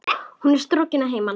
Hún er strokin að heiman.